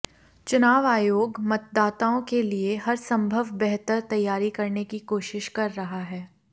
चुनाव आयोग मतदाताओं के लिए हर संभव बेहतर तैयारी करने की कोशिश कर रहा है